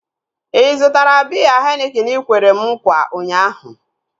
Ị zụtara biya henikin ikwere m nkwa ụnyaahụ?